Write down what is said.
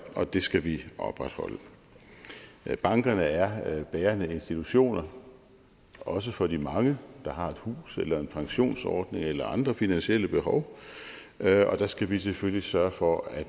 og den skal vi opretholde bankerne er bærende institutioner også for de mange der har et hus eller en pensionsordning eller andre finansielle behov og der skal vi selvfølgelig sørge for at